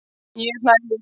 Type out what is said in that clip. Ég hlæ líka.